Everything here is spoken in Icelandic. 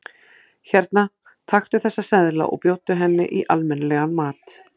Hérna, taktu þessa seðla og bjóddu henni í almenni- legan mat.